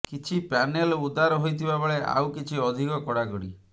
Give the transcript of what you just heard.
କିଛି ପ୍ୟାନେଲ ଉଦାର ହୋଇଥିବା ବେଳେ ଆଉ କିଛି ଅଧିକ କଡ଼ାକଡ଼ି